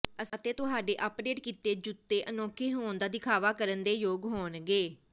ਅਤੇ ਤੁਹਾਡੇ ਅਪਡੇਟ ਕੀਤੇ ਜੁੱਤੇ ਅਨੋਖੇ ਹੋਣ ਦਾ ਦਿਖਾਵਾ ਕਰਨ ਦੇ ਯੋਗ ਹੋਣਗੇ